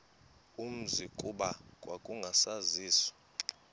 umzi kuba kwakungasaziwa